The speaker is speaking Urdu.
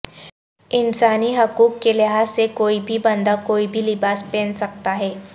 انسانی حقوق کے لحاظ سے کوئی بھی بندہ کوئی بھی لباس پہن سکتا ہے